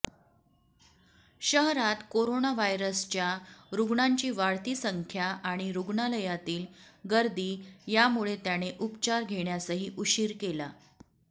शहरात कोरोनाव्हायरसच्या रुग्णांची वाढती संख्या आणि रुग्णालयातील गर्दी यामुळे त्याने उपचार घेण्यासही उशीर केला